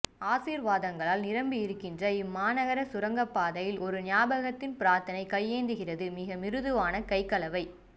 ஆசீர்வாதங்களால் நிரம்பியிருக்கின்ற இம்மாநகர சுரங்கப்பாதையில் ஒரு ஞாபகத்தின் பிரார்த்தனை கையேந்துகிறது மிக மிருதுவான கைகளவை